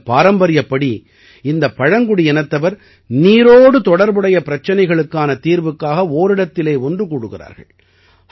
இந்தப் பாரம்பரியப்படி இந்தப் பழங்குடியினத்தவர் நீரோடு தொடர்புடைய பிரச்சனைகளுக்கான தீர்வுக்காக ஓரிடத்தில் ஒன்று கூடுகிறார்கள்